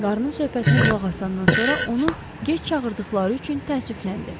Qarının söhbətinə qulaq asandan sonra onu gec çağırdıqları üçün təəssüfləndi.